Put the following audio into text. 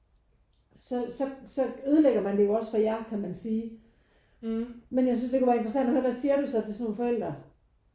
Så så så ødelægger man det jo også for jer kan man sige. Men jeg synes det kunne være interessant at høre hvad siger du så til sådan nogle forældre?